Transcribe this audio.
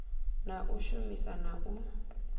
na u shumisa na u